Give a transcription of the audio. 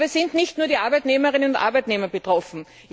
Aber es sind nicht nur die Arbeitnehmerinnen und Arbeitnehmer betroffen.